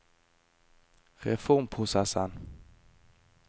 reformprosessen